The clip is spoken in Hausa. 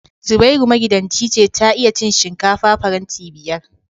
Zubairu magidanci ce ta iya cin shinkafa faranti biyar